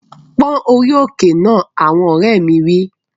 Pón orí òkè náà! Àwọn ọ̀rẹ́ mi wí